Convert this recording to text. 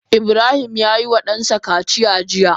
Ibrahim yayi wa dansa kaciya jiya.